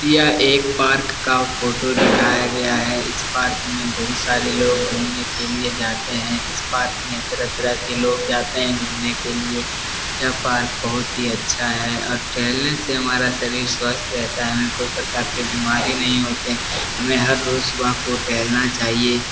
यह एक पार्क का फ़ोटो दिखाया गया है इस पार्क में बहुत सारे लोग घूमने के लिए जाते हैं इस पार्क में तरह-तरह के लोग जाते हैं घूमने के लिए यह पार्क बहुत ही अच्छा है और टहलने से हमारा शरीर स्वस्थ रहता है कोई प्रकार के बीमारी नहीं होतें हमें हर रोज़ सुबह को टहलना चाहिए।